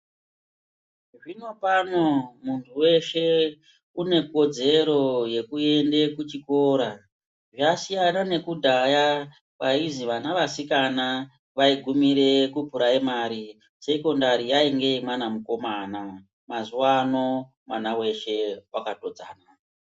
Zvinopano muntu veshe une kodzero yekuende kuchikora zvasiyana nekudhaya kwaizi vana vasikana vaigumire kupuraimari. Sekondari yainge yemwana mukomana mazuva ano mwana veshe vakatodzana.